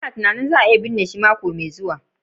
lna tunanin za a iya binne shi mako mai zuwa.